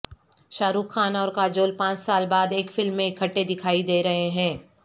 شارخ خان اور کاجول پانچ سال بعد ایک فلم میں اکٹھے دکھائی دے رہے ہیں